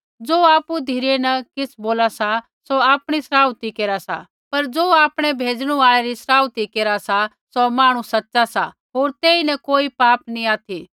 ज़ो आपु धिरै न किछ़ बोला सा सौ आपणी सराउथी केरा सा पर ज़ो आपणै भेजणु आल़ै री सराउथी केरा सा सौ मांहणु सच़ा सा होर तेईन कोई पाप नी ऑथि